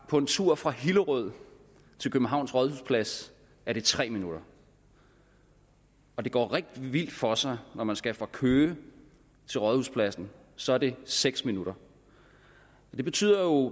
på en tur fra hillerød til københavns rådhusplads er det tre minutter og det går rigtig vildt for sig når man skal fra køge til rådhuspladsen så er det seks minutter det betyder jo